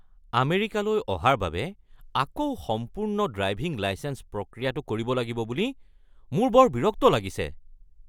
আমেৰিকালৈ অহাৰ বাবে আকৌ সম্পূৰ্ণ ড্ৰাইভিং লাইচেঞ্চ প্ৰক্ৰিয়াটো কৰিব লাগিব বুলি মোৰ বৰ বিৰক্ত লাগিছে।